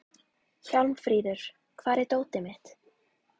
Hjálmfríður, hvar er dótið mitt?